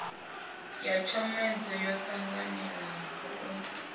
ya tshomedzo yo tanganelaho u